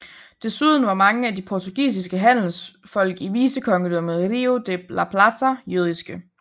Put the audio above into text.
Desuden var mange af de portugisiske handelsfolk i Vicekongedømmet i Río de la Plata jødiske